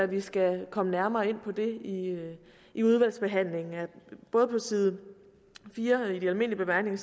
vi skal komme nærmere ind på det i i udvalgsbehandlingen både på side fire i de almindelige bemærkninger